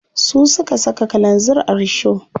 Su suka saka kalanzir a risho.